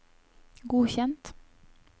godkjent